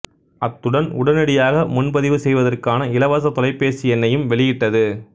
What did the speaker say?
அத்துடன் உடனடியாக முன்பதிவு செய்வதற்கான இலவச தொலைபேசி எண்ணையும் வெளியிட்டது